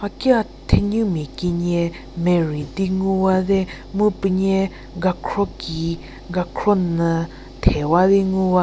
hakia thenumia kenie merei di ngu wate mu puo nie gakhro ki gakhro nyü the wa di ngu wa.